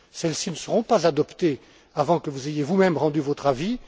Celles ci ne seront pas adoptées avant que vous ayez vous même rendu votre avis.